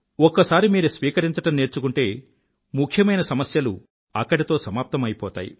ఒక్కసారి మీరు స్వీకరించడం నేర్చుకుంటే ముఖ్యమైన సమస్యలు అక్కడితో సమాప్తమైపోతాయి